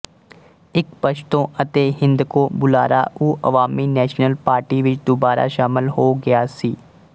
ਇੱਕ ਪਸ਼ਤੋ ਅਤੇ ਹਿੰਦਕੋ ਬੁਲਾਰਾ ਉਹ ਅਵਾਮੀ ਨੈਸ਼ਨਲ ਪਾਰਟੀ ਵਿੱਚ ਦੁਬਾਰਾ ਸ਼ਾਮਲ ਹੋ ਗਿਆ ਸੀ